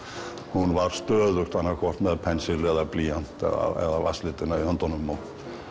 hún var stöðugt annaðhvort með pensil eða blýant eða vatnslitina í höndunum og